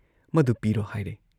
ꯃꯗꯨ ꯄꯤꯔꯣ ꯍꯥꯏꯔꯦ ꯫